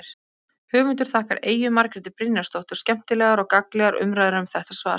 Höfundur þakkar Eyju Margréti Brynjarsdóttur skemmtilegar og gagnlegar umræður um þetta svar.